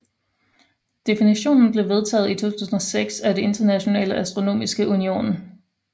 Definitionen blev vedtaget i 2006 af den Internationale Astronomiske Union